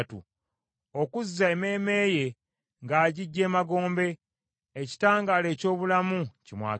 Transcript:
okuzza emmeeme ye ng’agiggya emagombe, ekitangaala eky’obulamu kimwakire.